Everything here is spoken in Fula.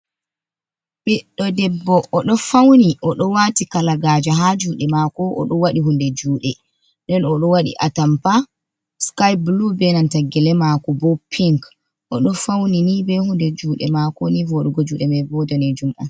Ɓiɗɗo debbo oɗo fauni oɗo wati kalagaja ha juɗe mako, oɗo waɗi hunde juɗe. Nden oɗo waɗi atampa sky bulu be nanta gele mako bo pink, oɗo fauni ni be hunde juɗe mako ni voɗugo juɗe mai bo danejum.